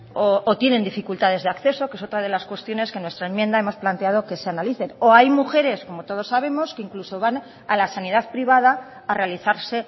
o tienen dificultades de acceso que es otra de las cuestiones que en nuestra enmienda hemos planteado que se analice o hay mujeres como todos sabemos que incluso van a la sanidad privada a realizarse